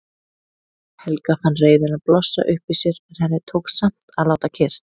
Helga fann reiðina blossa upp í sér en henni tókst samt að láta kyrrt.